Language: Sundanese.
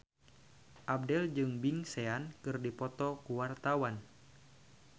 Abdel jeung Big Sean keur dipoto ku wartawan